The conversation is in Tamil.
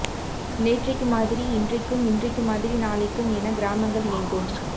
நேற்றைக்கு மாதிரி இன்றைக்கும் இன்றைக்கு மாதிரி நாளைக்கும் என கிராமங்கள் இயங்கும்